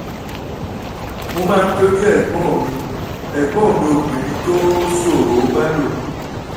mo máa ń tọ́jú ẹ̀gbọ́n mi ẹ̀gbọ́n mi obìnrin tó ṣòroó bá lò